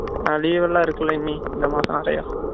leave லாம் இருக்குல இனி இந்த மாசம் நிறைய